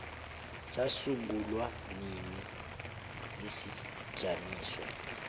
sasungulwa nini isijamiso